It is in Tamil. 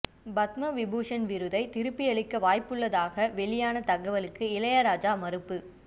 பத்ம விபூஷண் விருதை திருப்பியளிக்க வாய்ப்புள்ளதாக வெளியான தகவலுக்கு இளையராஜா மறுப்பு